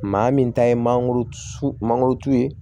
Maa min ta ye mangoro sun mangoro turu ye